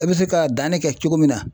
E bɛ se ka danni kɛ cogo min na